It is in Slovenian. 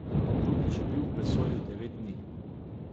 Drugič je bil v vesolju devet dni.